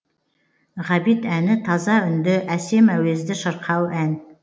ғабит әні таза үнді әсем әуезді шырқау ән